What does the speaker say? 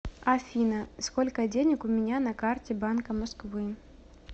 афина сколько денег у меня на карте банка москвы